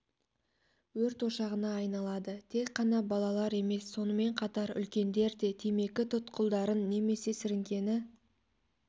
өрт ошағына айналады тек қана балалар емес сонымен қатар үлкендер де темекі тұқылдарын немесе сіріңкені